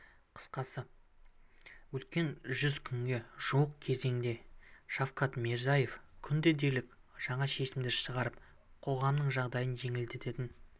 қысқасы өткен жүз күнге жуық кезеңде шавкат мирзиеев күнде дерлік жаңа шешімдер шығарып қоғамның жағдайын жеңілдететін